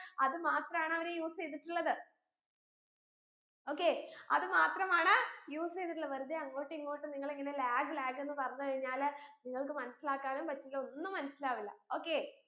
അത് മാത്രമാണ് അവർ use എയ്തിട്ടുള്ളത് okay അത് മാത്രമാണ് use എയ്തിട്ടുളള വെറുതെ അങ്ങോട്ടു ഇങ്ങോട്ടു നിങ്ങളിങ്ങനെ lag lag എന്ന് പറഞ്ഞു കഴിഞ്ഞാൽ നിങ്ങൾക്ക് മനസ്സിലാക്കാനും പറ്റില്ല ഒന്നും മനസ്സിലാവില്ല okay